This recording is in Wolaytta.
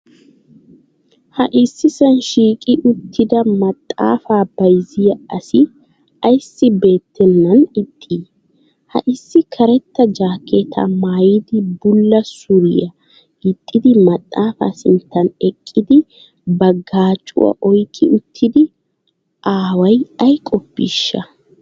Ha issisaan shiiqi uttida maxaafaa bayzziya asi ayssi beettenan ixxii? Ha issi karetta jaakeetaa maayidi bula suriya gixxidi maxaafa sinttan eqqidi ba gacuwa oyqqi uttida aaway ay qoppiisha?